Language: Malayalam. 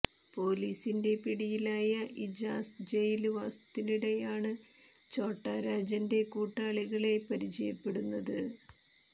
പൊലീസിന്റെ പിടിയിലായ ഇജാസ് ജയില് വാസത്തിനിടെയാണ് ഛോട്ടാ രാജന്റെ കൂട്ടാളികളെ പരിചയപ്പെടുന്നത്